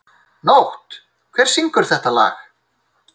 Nótt, hver syngur þetta lag?